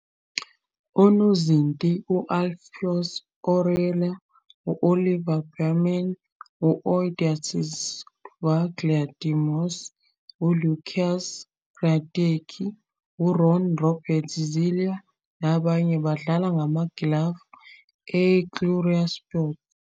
Onozinti u- Alphonso Areola, u-Oliver Baumann, u- Odysseas Vlachodimos, uLukas Hradecky, uRon-Robert Zieler nabanye badlala ngamagilavu e-uhlsport.